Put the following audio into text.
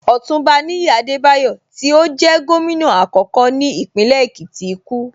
Ọ̀túnba Níyì Adebayo tí ó jẹ́ Gómìnà àkọ́kọ́ ní Ìpínlẹ̀ Èkìtì kú